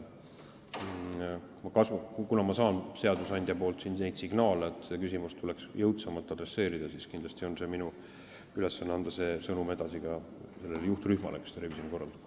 Kuna ma saan seadusandjalt signaale, et seda küsimust tuleks jõudsamalt käsitleda, siis kindlasti on minu ülesanne anda see sõnum edasi juhtrühmale, kes revisjoni korraldab.